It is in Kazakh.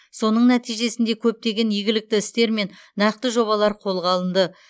соның нәтижесінде көптеген игілікті істер мен нақты жобалар қолға алынды